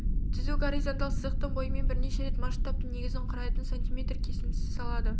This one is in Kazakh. түзу горизонталь сызықтың бойымен бірнеше рет масштабтың негізін құрайтын см кесіндіні салады